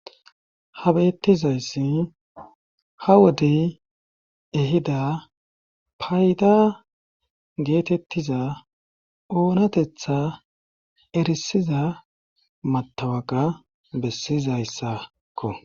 Ha bettizayssi ha wodey ehida payda geetettiza oonatetha erisiza matawaga bessizayssakko.